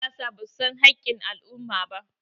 yansiyasa ba su san hakkin al'umma ba